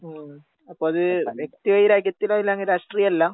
ഉവ്വ ഉവ്വ. അപ്പത് വ്യക്തിവൈരാഗ്യത്തിന്റെ പേരിലാണ് രാഷ്ട്രീയല്ല.